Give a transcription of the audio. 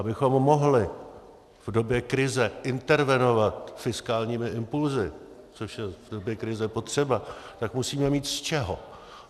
Abychom mohli v době krize intervenovat fiskálními impulsy, což je v době krize potřeba, tak musíme mít z čeho.